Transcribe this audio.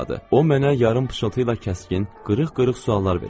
O mənə yarım pıçıltıyla kəskin, qırıq-qırıq suallar verirdi.